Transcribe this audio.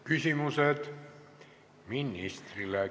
Küsimused ministrile.